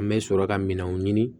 An bɛ sɔrɔ ka minɛnw ɲini